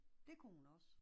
Det kunne hun også